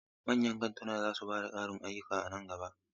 Manyan kantuna za su ba da ƙarin ayyuka a nan gaba.